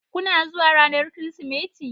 Kuna zuwa ranar Kirsimeti?